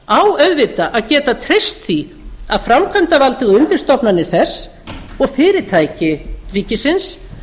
á auðvitað að geta treyst því að framkvæmdarvaldið og undirstofnanir þess og fyrirtæki ríkisins